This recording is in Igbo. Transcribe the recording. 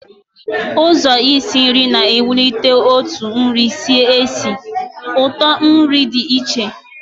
Ụzọ isi nri na ewulite otu nri si esi, otu nri di na ísì ụtọ nri